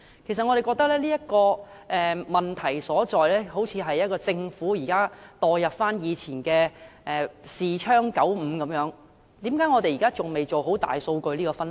其實我們認為，這問題所在，就是政府現行做法落後，彷似仍在使用以前的視窗95般，為甚麼我們現時仍未能做好大數據分析？